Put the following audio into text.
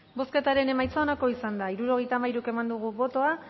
bozketaren emaitza onako izan da hirurogeita hamairu eman dugu bozka